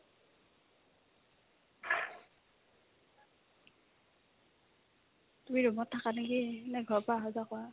তুমি room ত থাকা নেকি নে ঘৰৰ পৰা অহা-যোৱা কৰা ?